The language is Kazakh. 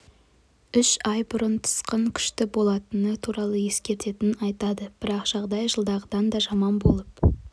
үш ай бұрын тасқын күшті болатыны туралы ескерткенін айтады бірақ жағдай жылдағыдан да жаман болып